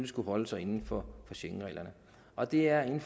skulle holde sig inden for schengenreglerne og det er en